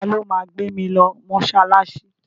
Ta ló ma gbé mi lọ mọ́ṣáláṣí?